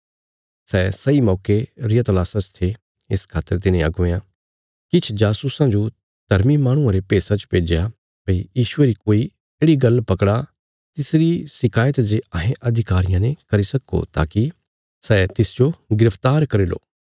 सै सही मौके रिया तलाशा च थे इस खातर तिन्हे अगुवेयां किछ जासूसां जो धर्मी माहणुआं रे भेषा च भेज्या भई यीशुये री कोई येढ़ि गल्ल पकड़ा तिसरी शिकायत जे अहें अधिकारियां ने करी सक्को ताकि सै तिसजो गिरफ्तार करी लो